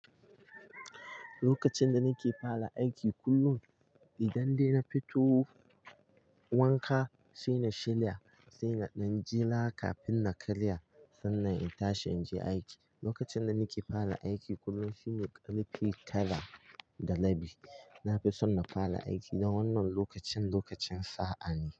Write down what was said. Lokacin da nake fara aiki kullum, idan dai na fito wanka sai na shilya sai na jela kafin na karya. Sannan in tashi in je aiki. Lokacin da nake fara aiki kullum shine ƙarfe tara da rabi. Na fi son na fara aiki da wannan lokacin, lokacin sa'a ne.